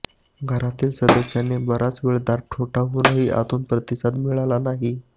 घरातील सदस्यांनी बराच वेळ दार ठोठावूनही आतून प्रतिसाद मिळाला नाही